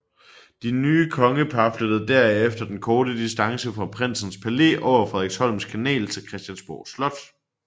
Det nye kongepar flyttede derefter den korte distance fra Prinsens Palæ over Frederiksholms Kanal til Christiansborg Slot